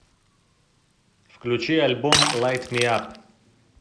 включи альбом лайт ми ап